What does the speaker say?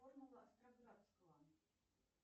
формула остроградского